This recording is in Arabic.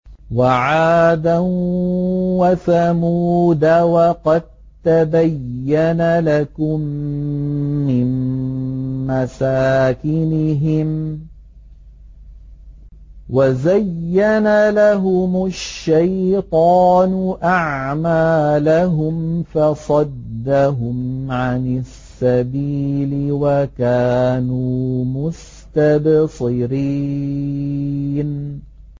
وَعَادًا وَثَمُودَ وَقَد تَّبَيَّنَ لَكُم مِّن مَّسَاكِنِهِمْ ۖ وَزَيَّنَ لَهُمُ الشَّيْطَانُ أَعْمَالَهُمْ فَصَدَّهُمْ عَنِ السَّبِيلِ وَكَانُوا مُسْتَبْصِرِينَ